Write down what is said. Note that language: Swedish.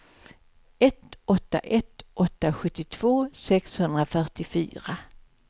ett åtta ett åtta sjuttiotvå sexhundrafyrtiofyra